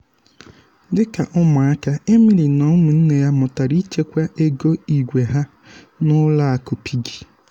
dịka ụmụaka emily na ụmụnne ya mụtara ịchekwa ego igwēha n'ụlọ akụ piggy.